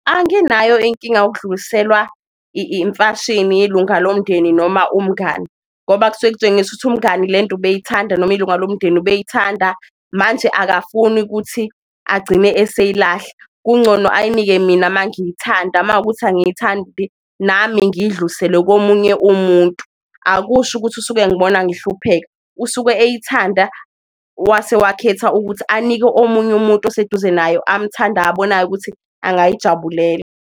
Anginayo inkinga yokudluliselwa imfashini ilunga lomndeni noma umngani, ngoba kusuke kutshengisa ukuthi umngani lento ubeyithanda noma ilunga lomndeni ubeyithanda manje akafuni ukuthi agcine eseyilahla, kungcono ayinike mina mangiyithanda makuwukuthi angiyithandi nami ngiyidlulisele komunye umuntu. Akusho ukuthi usuke engibona ngihlupheka usuke eyithanda wase wakhetha ukuthi anike omunye umuntu oseduze nayo amthandayo abonayo ukuthi angayijabulela.